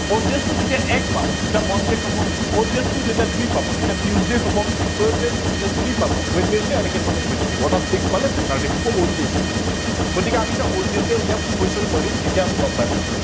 odd days টো যেতিয়া এক পাব তেতিয়া monday হব, odd days টো যেতিয়া দুই পাব তেতিয়া tuesday হব, odd days টো যেতিয়া তিনি পাব wednesday এনেকে ধৰনে গৈ থাকিব অৰ্থাৎ six পালে saturday হব odd days টো। গতিকে আমি odd days এ উলিয়াম question কৰিম তেতিয়া আমি গম পাই যাম।